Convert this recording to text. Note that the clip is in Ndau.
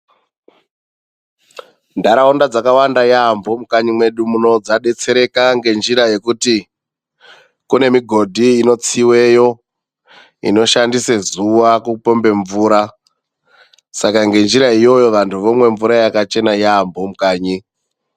Ndaraunda dzakawanda yaambo mukanyi mwedu muno dzadetsereka ngenjira yekuti kune migodhi inotsiiweyo inoshandisa zuwa kupombe mvura. Saka ngenjira iyoyo vandu vomwe mvura yakachena yaambo mukanyi .